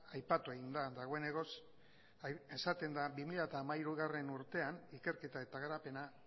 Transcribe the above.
aipatu egin da dagoenekoz esaten da bi mila hamairugarrena urtean ikerketa eta garapena